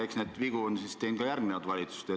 Eks neid vigu on teinud ka järgmised valitsused.